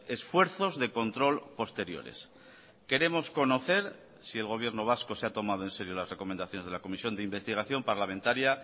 esfuerzos de control posteriores queremos conocer si el gobierno vasco se ha tomado en serio las recomendaciones de la comisión de investigación parlamentaria